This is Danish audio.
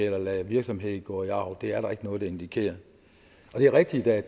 eller lade virksomheder gå i arv det er der ikke noget der indikerer det er rigtigt at